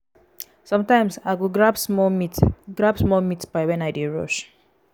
sometimes i go grab small meat grab small meat pie when i dey rush.